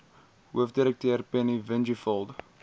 hoofdirekteur penny vinjevold